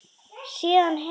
Síðan hef ég verið hér.